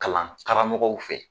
Kalan karamɔgɔw fɛ.